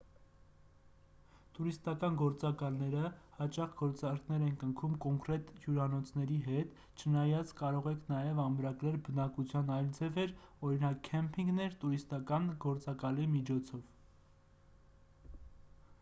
տուրիստական գործակալները հաճախ գործարքներ են կնքում կոնկրետ հյուրանոցների հետ չնայած կարող եք նաև ամրագրել բնակության այլ ձևեր օրինակ քեմպինգներ տուրիստական գործակալի միջոցով